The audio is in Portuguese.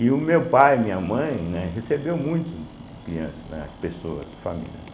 E o meu pai, minha mãe, né, recebeu muitos crianças né, pessoas, famílias, né.